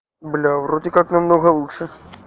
бля вроде как намного лучше